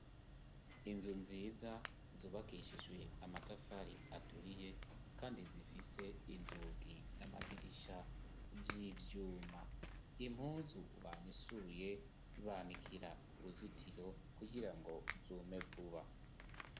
Inzu nziza zubakishijwe amatafari aturiye kandi zifise inzugi n'amadirisha vy'ivyuma, impuzu bamesuye banikira ku ruzitiro kugirango zume vuba.